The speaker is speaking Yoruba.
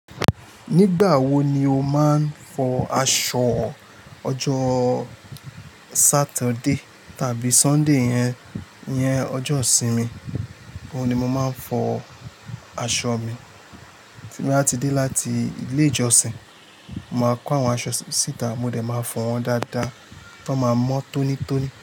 Nígbà wo ni o máa ń fọ aṣọ? Ọjọ Saturday tàbí Sunday yẹn, iyẹn ọjọ́ ìsinmi, òun ni mo máa ń fọ aṣọ mi. Tí mo bá ti dé láti ilé ìjọsìn, màá kó àwọn aṣọ síta mo dẹ̀ máa fọ̀ wọ́n dáadáa tán máa mọ́ tónítóní.